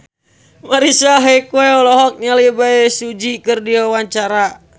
Marisa Haque olohok ningali Bae Su Ji keur diwawancara